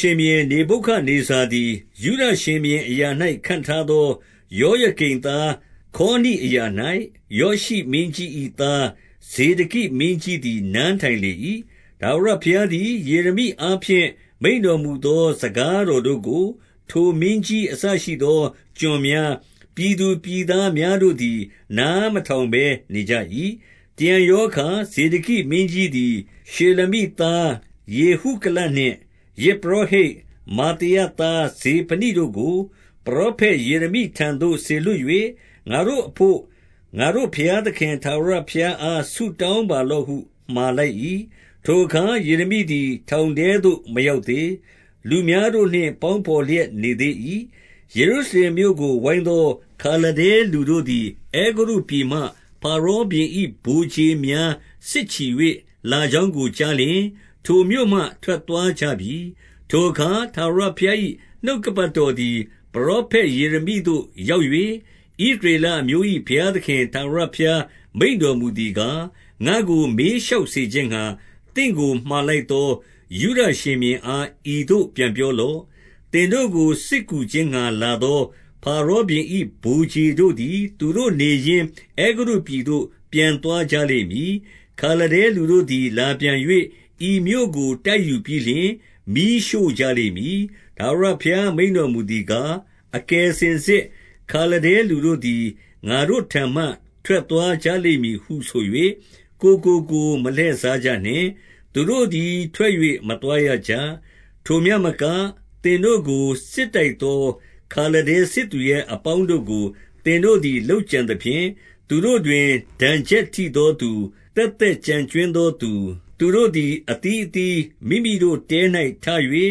ရှင်ဘုရင်နေဗုခဒ်နေဇာသည် ယုဒ ရှင်ဘုရင်အရာ၌ ခန့်ထားသော ယောယကိမ်သားခေါနိ အရာ၌၊ ယောရှိမင်းကြီး၏ သားဇေဒကိမင်းကြီးသည် နန်းထိုင်လေ၏။ 2 ထာဝရဘုရားသည် ယေရမိအားဖြင့် မိန့်တော် မူသော စကားတော်တို့ကို၊ ထိုမင်းကြီးအစရှိသော ကျွန်များ၊ ပြည်သူပြည်သားများတို့သည် နားမထောင်ဘဲ နေကြ၏။ 3 တရံရောအခါ ဇေဒကိမင်းကြီးသည်၊ ရှေလမိ သားယေဟုကလနှင့်ယဇ်ပုရောဟိတ် မာသေယသား ဇေဖနိတို့ကို ပရောဖက်ယေရမိထံသို့ စေလွှတ်၍၊ ငါတို့ အဘို့ငါတို့ဘုရားသခင်ထာဝရ ဘုရားအားဆုတောင်း ပါလော့ဟု မှာလိုက်၏။ 4 ထိုအခါ ယေရမိသည် ထောင်ထဲသို့ မရောက် သေး။ လူများ တို့နှင့်ပေါင်းဘော်လျက် နေသေး၏။ 5 ယေရုရှလင်မြို့ကို ပိုင်းသော ခါလဒဲလူတို့သည်၊ အဲဂုတ္တုပြည်မှ ဖာရောဘုရင်၏ ဗိုလ်ခြေများစစ်ချီ၍ လာကြောင်းကို ကြားလျှင်၊ ထိုမြို့မှ ထွက်သွားကြပြီ။ 6 ထိုအခါ ထာဝရဘုရား၏နှုတ်ကပတ်တော်သည် ပရောဖက်ယေရမိသို့ ရောက်၍၊ 7 ဣသရေလအမျိုး၏ ဘုရားသခင် ထာဝရဘုရား မိန့်တော်မူသည်ကား၊ ငါ့ကိုမေးလျှောက်စေခြင်းငှါ၊ သင့်ကိုမှာလိုက်သော ယုဒရှင်ဘုရင်အား ဤသို့ပြန်ပြော လော့။ သင်တို့ကိုစစ်ကူခြင်းငှါလာသော ဖာရောဘုရင်၏ ဗိုလ်ခြေတို့သည်သူတို့နေရင်း အဲဂုတ္တုပြည်သို့ ပြန်သွားကြ လိမ့်မည်။ 8 ခါလဒဲလူတို့သည် လာပြန်၍၊ ဤမြို့ကို တိုက်ယူ ပြီးလျှင် မီးရှို့ကြလိမ့်မည်။ 9 ထာဝရဘုရားမိန့်တော်မူသည်ကား၊ အကယ်စင် စစ်ခါလဒဲလူတို့သည် ငါတို့ထံမှ ထွက်သွားကြလိမ့်မည်ဟု ဆို၍ ကိုယ်ကိုကိုယ်မလှည့်စားကြနှင့်။ သူတို့သည် ထွက်၍ မသွားရကြ။ 10 ထိုမျှမက၊ သင်တို့ကိုစစ်တိုက်သော ခါလဒဲ စစ်သူရဲအပေါင်းတို့ကို သင်တို့သည်လုပ်ကြံသဖြင့်၊ သူတို့ တွင် ဒဏ်ချက်ထိသော သူသက်သက် ကျန်ကြွင်းသော် လည်း၊ သူတို့သည် အသီးအသီးမိမိတို့ထဲ၌ထ၍၊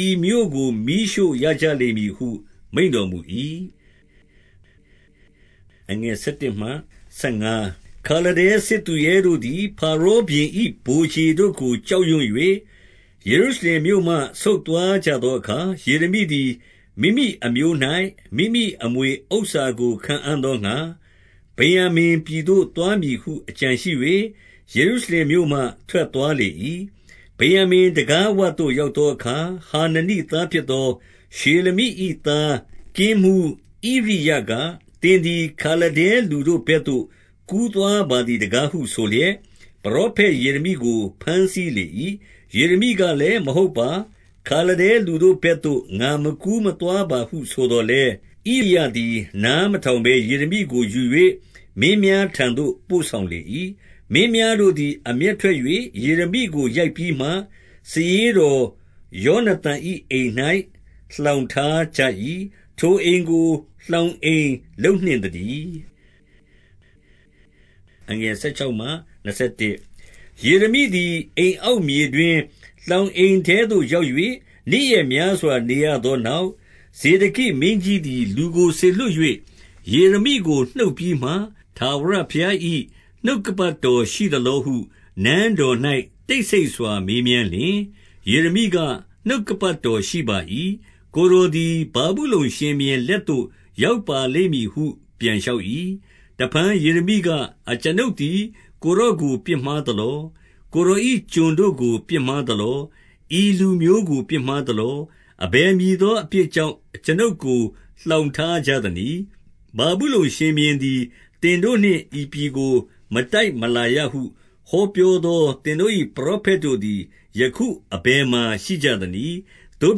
ဤမြို့သို့ မီးရှို့ရကြလိမ့်မည်ဟု မိန့်တော်မူ၏။ 11 ခါလဒဲစစ်သူရဲတို့သည် ဖာရောဘုရင်၏ဗိုလ်ခြေ တို့ကို ကြောက်ရွံ့၍၊ ယေရုရှလင်မြို့မှ ဆုတ်သွားကြသော အခါ၊ 12 ယေရမိသည်မိမိအမျိုး၌ မိမိအမွေဥစ္စာကို ခံအံ့ သောငှါ၊ ဗင်္ယာမိန်ပြည်သို့သွားမည်ဟု အကြံရှိ၍ ယေရု ရှလင်မြို့မှ ထွက်သွားလေ၏။ 13 ဗင်္ယာမိန်တံခါးဝသို့ ရောက်သောအခါ၊ ဟာနနိ သားဖြစ်သော ရှေလမိ၏ သားကင်းမှူးဣရိယက၊ သင်သည်ခါလဒဲ လူတို့ဘက်သို့ ကူးသွားပါသည် တကား ဟုဆိုလျက်၊ ပရောဖက်ယေရမိကိုဘမ်းဆီးလေ၏။ 14 ယေရမိ ကလည်း၊ မဟုတ်ပါ။ ခါလဒဲလူတို့ ဘက်သို့ ငါမကူးမသွားပါဟုဆိုသော်လည်း၊ ဣရိယသည် နားမထောင်ဘဲ၊ ယေရမိကို ယူ၍ မင်းများထံသို့ ပို့ဆောင် လေ၏။ 15 မင်းများတို့သည် အမျက်ထွက်၍ ယေရမိကို ရိုက်ပြီးမှ၊ စာရေးတော်ယောနသန်၏အိမ်၌ လှောင်ထား ကြ၏။ ထိုအိမ်ကို လှောင်အိမ်လုပ်နှင့်သတည်း။ 16 ယေရမိသည် အိမ်အောက်မြေတွင်း၊ လှောင် အိမ်ထဲသို့ရောက်၍၊ နေ့ရက်များစွာ နေရသောနောက်၊ 17 ဇေဒကိမင်းကြီးသည် လူကိုစေလွှတ်၍ ယေရမိ ကိုနှုတ်ပြီးမှ၊ ထာဝရဘုရား၏ နှုတ်ကပတ်တော်ရှိသလော ဟု နန်းတော်၌ တိတ်ဆိတ်စွာ မေးမြန်းလျှင်၊ ယေရမိက၊ နှုတ်ကပတ်တော်ရှိပါ၏။ ကိုယ်တော်သည် ဗာဗုလုန် ရှင်ဘုရင်လက်သို့ရောက်ပါလိမ့်မည်ဟု ပြန်လျှောက်၏။ 18 တဖန်ယေရမိက၊ အကျွန်ုပ်သည် ကိုယ်တော်ကို ပြစ်မှားသလော။ ကိုယ်တော်၏ကျွန်တို့ကို ပြစ်မှား သလော။ ဤလူမျိုးကို ပြစ်မှားသလော။ အဘယ်မည် သောအပြစ်ကြောင့် အကျွန်ုပ်ကို လှောင်ထားကြသနည်း။ 19 ဗာဗုလုန်ရှင်ဘုရင်သည် သင်တို့နှင့် ဤပြည်ကို မတိုက်မလာရဟု ဟောပြောသောသင်တို့၏ ပရောဖက် တို့သည် ယခုအဘယ်မှာ ရှိကြသနည်း။ 20 သို့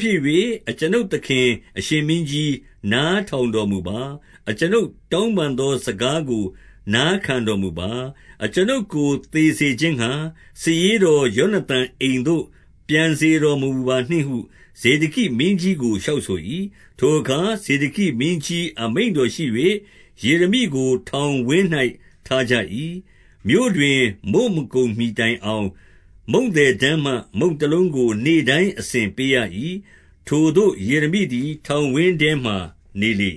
ဖြစ်၍၊ အကျွန်ုပ်သခင်အရှင်မင်းကြီး၊ နားထောင်တော်မူပါ၊ အကျွန်ုပ်တောင်းပန်သောစကားကို နားခံတော်မူပါ။ အကျွန်ုပ်ကို သေစေခြင်းငှါ၊ စာရေး တော်ယောနသန်အိမ်သို့ ပြန်စေတော်မမူပါနှင့်ဟု ဇေဒကိမင်းကြီးကို လျှောက်ဆို၏။ 21 ထိုအခါ ဇောဒကိမင်းကြီးအမိန့်တော်ရှိ၍၊ ယေရမိကို ထောင်ဝင်း၌ ထားကြ၏။ မြို့တွင် မုန့်မကုန်မှီ တိုင်အောင်၊ မုန့်သည် တန်းမှမုန့်တလုံးကို နေ့တိုင်း အစဉ်ပေးရ၏။ ထိုသို့ယေရမိသည် ထောင်ဝင်းထဲမှာ နေလေ